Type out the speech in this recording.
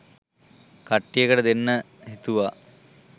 කට්ටියට දෙන්න හිතුවා